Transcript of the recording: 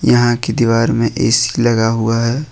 यहा की दीवार मे ए_सी लगा हुआ है।